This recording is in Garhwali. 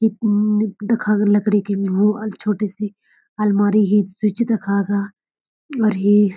ये निप दिखा लकड़ी की वो आर छोटी सी अलमारी ही छी तखा का और ये --